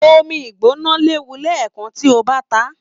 Omí Igbona léwu lẹẹkan tí o bá tàn.